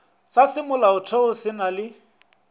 sa semolaotheo se na le